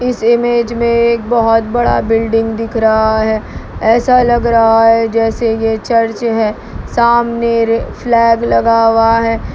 इस इमेज में एक बहुत बड़ा बिल्डिंग दिख रहा है ऐसा लग रहा है जैसे ये चर्च है सामने फ्लैग लगा हुआ है।